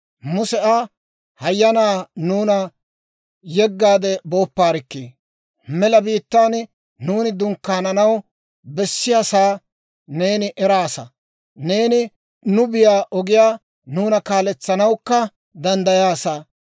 Muse Aa, «Hayyanaa, nuuna yeggaade boopparikkii! mela biittaan nuuni dunkkaananaw bessiyaasa neeni eraasa; neeni nu biyaa ogiyaa nuuna kaaletsanawukka danddayaasa.